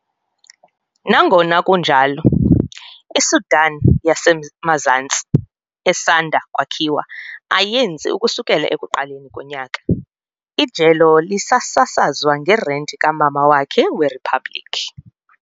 Nangona kunjalo, iSudan yaseMazantsi esanda kwakhiwa ayenzi ukusukela ekuqaleni konyaka, ijelo lisasazwa ngerenti kamama wakhe weriphabliki.